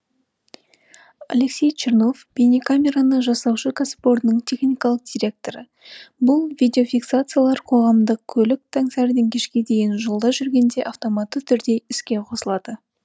алексей чернов бейнекамераны жасаушы кәсіпорынның техникалық директоры бұл видиофиксациялар қоғамдық көлік таңсәріден кешке дейін жолда жүргенде автоматты түрде іске қосылады